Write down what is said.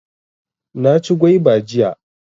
Na ci gwaiba jiya